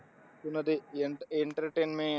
तुला ते entertainment entertainment